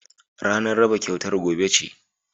Ranar raba kyautar gobe ce